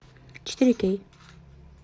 четыре кей